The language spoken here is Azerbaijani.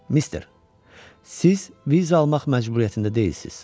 Mister, siz viza almaq məcburiyyətində deyilsiniz.